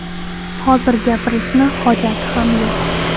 Hozir gapirishni hojati ham yo‘q.